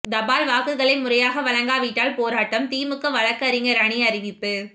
தபால் வாக்குகளை முறையாக வழங்காவிட்டால் போராட்டம் திமுக வழக்கறிஞர் அணி அறிவிப்பு